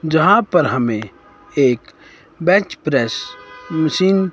यहां पर हमें एक बेंच प्रेस मशीन --